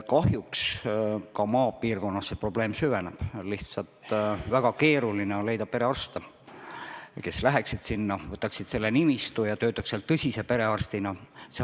Kahjuks ka maapiirkonnas see probleem süveneb, lihtsalt väga keeruline on leida perearste, kes läheksid sinna kohapeale, võtaksid nimistu ja töötaksid seal.